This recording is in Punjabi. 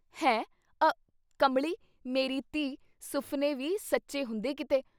“ਹੈ….. ਅ….. ਕਮਲੀ ਮੇਰੀ ਧੀ ! ਸੁਫਨੇ ਵੀ ਸੱਚੇ ਹੁੰਦੇ ਕਿਤੇ।